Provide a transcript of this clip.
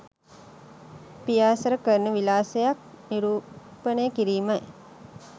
පියාසර කරන විලාසයක් නිරූපණය කිරීමයි.